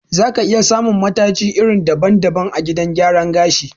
Za ka iya samun mataji iri daban-daban a gidan gyaran gashi.